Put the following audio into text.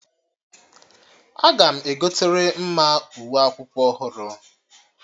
Aga m egotere Mma uwe akwụkwọ ọhụrụ